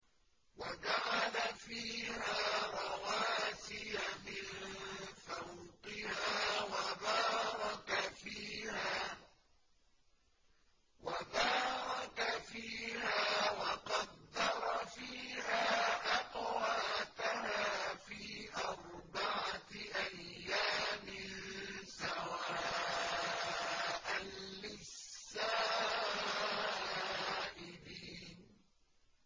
وَجَعَلَ فِيهَا رَوَاسِيَ مِن فَوْقِهَا وَبَارَكَ فِيهَا وَقَدَّرَ فِيهَا أَقْوَاتَهَا فِي أَرْبَعَةِ أَيَّامٍ سَوَاءً لِّلسَّائِلِينَ